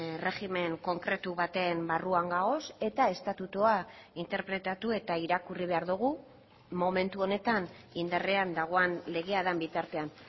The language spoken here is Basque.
erregimen konkretu baten barruan gaude eta estatutua interpretatu eta irakurri behar dugu momentu honetan indarrean dagoen legea den bitartean